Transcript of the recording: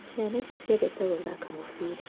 Ciana ici ciendete gũthaka mũbira